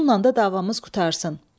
Bununla da davamız qurtarsın.